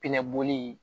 Pinɛ bɔli